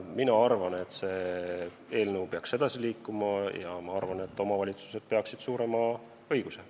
Ma arvan, et see eelnõu peaks edasi liikuma ja omavalitsused peaksid saama suurema õiguse.